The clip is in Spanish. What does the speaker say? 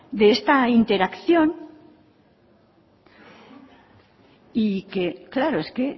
de esta interacción y que claro es que